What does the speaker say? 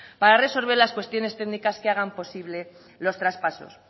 para resolver las cuestiones técnicas que hagan posible los traspasos